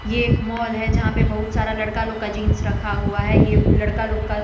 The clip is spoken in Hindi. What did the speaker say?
ये एक मॉल है यहां पे बहुत सारा लड़का लोग का जींस रखा हुआ है ये लड़का लोग का--